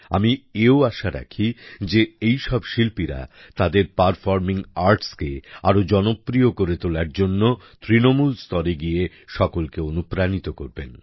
আমি এও আশা রাখি যে এই সব শিল্পীরা তাদের পারফরমিং আর্টস কে আরো জনপ্রিয় করে তোলার জন্য তৃণমূল স্তরে গিয়ে সকলকে অনুপ্রাণিত করবেন